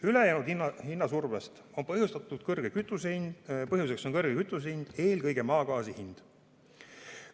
Ülejäänud hinnasurve põhjuseks on kütuse kõrge hind, eelkõige maagaasi hind.